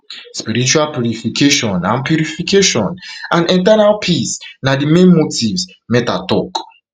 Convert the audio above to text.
spiritual purification and purification and eternal peace na di main motives mehta tok